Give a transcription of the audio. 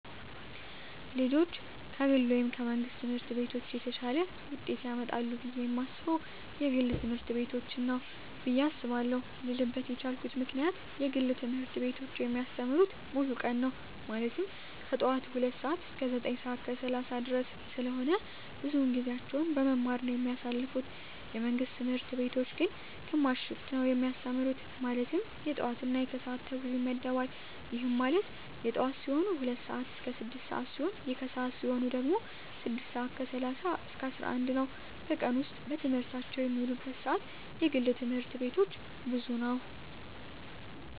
ልጆች ከግል ወይም ከመንግሥት ትምህርት ቤቶች የተሻለ ውጤት ያመጣሉ ብየ የማስበው የግል ትምህርት ቤቶችን ነው ብየ አስባለው ልልበት የቻልኩት ምክንያት የግል ትምህርት ቤቶች የሚያስተምሩት ሙሉ ቀን ነው ማለትም ከጠዋቱ 2:00 ሰዓት እስከ 9:30 ድረስ ስለሆነ ብዙውን ጊዜያቸውን በመማማር ነው የሚያሳልፉት የመንግስት ትምህርት ቤቶች ግን ግማሽ ሽፍት ነው የሚያስተምሩ ማለትም የጠዋት እና የከሰዓት ተብሎ ይመደባል ይህም ማለት የጠዋት ሲሆኑ 2:00 ስዓት እስከ 6:00 ሲሆን የከሰዓት ሲሆኑ ደግሞ 6:30 እስከ 11:00 ነው በቀን ውስጥ በትምህርት የሚውሉበት ሰዓት የግል ትምህርት ቤቶች ብዙ ነው።